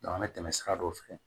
an bɛ tɛmɛ sira dɔ fɛ